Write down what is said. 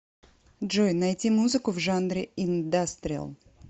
джой найти музыку в жанре индастриал